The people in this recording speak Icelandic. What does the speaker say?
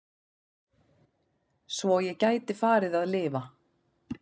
Svo ég gæti farið að lifa.